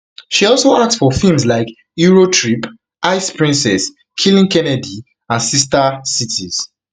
she also act for feems like eurotrip ice princess killing kennedy and sister cities